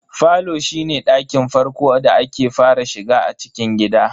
Falo shine ɗakin farko da ake fara shiga a cikin gida.